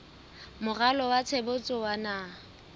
moralo wa tshebetso wa naha